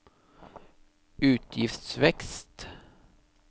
utgiftsvekst